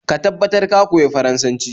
Ka tabbatar ka koyi Faransanci